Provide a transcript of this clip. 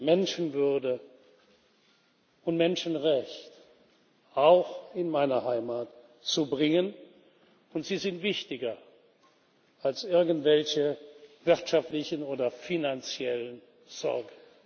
Menschenwürde und Menschenrechte auch in seine Heimat zu bringen, und sie sind wichtiger als irgendwelche wirtschaftlichen oder finanziellen Sorgen.